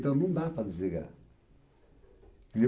Não dá para desligar. E